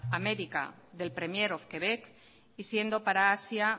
américa del premier of quebec y siendo para asia